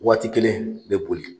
Waati kelen i be boli